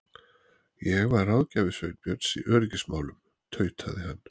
Ég var ráðgjafi Sveinbjörns í öryggismálum- tautaði hann.